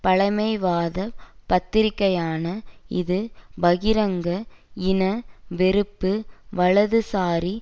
பழமைவாதப் பத்திரிகையான இது பகிரங்க இன வெறுப்பு வலதுசாரி